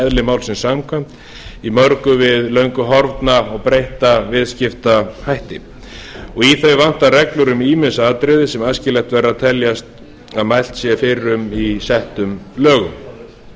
eðli málsins samkvæmt í mörgu við löngu horfna og breytta viðskiptahætti í þau vantar reglur um ýmis atriði sem æskilegast væri að teljast að mælt sé fyrir um í settum lögum